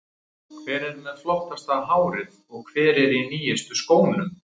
Hver er með flottasta hárið og hver er í nýjustu skónum?